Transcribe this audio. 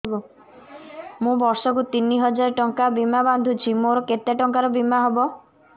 ମୁ ବର୍ଷ କୁ ତିନି ହଜାର ଟଙ୍କା ବୀମା ବାନ୍ଧୁଛି ମୋର କେତେ ଟଙ୍କାର ବୀମା ହବ